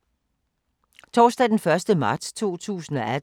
Torsdag d. 1. marts 2018